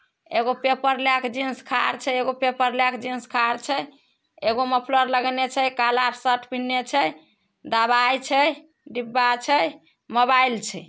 एगो पेपर ले के जेन्स खाड़ छे। एगो पेपर ले के जेन्स खाड़ छे। एगो मोफलर लगैने छे काला शर्ट पेन्हले छे। दवाई छे डिब्बा छे मोबाइल छे।